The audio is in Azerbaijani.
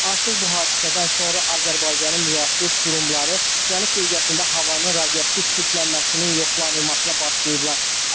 Artıq bu hadisədən sonra Azərbaycanın müvafiq qurumları cənub bölgəsində havanın radioaktiv çirklənməsinin yoxlanılmasına başlayıblar.